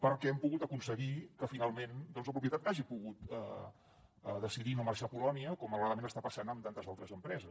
perquè hem pogut aconseguir que finalment la propietat hagi pogut decidir no marxar a polònia com malauradament està passant amb tantes altres empreses